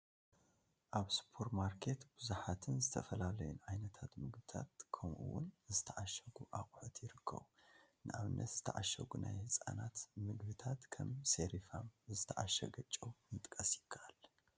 ኣብ ሱፐርማርኬት ብዙሓትን ዝተፈላለዩን ዓይነታት ምግብታት ከምኡ ውን ዝተዓሸጉ ኣቕሑት ይርከቡ፡፡ ንኣብነት ዝተዓሸጉ ናይ ህፃናት ምግብታት ከም ሰሪፋም፣ ዝተዓሸገ ጨው ምጥቃስ ይካኣል፡፡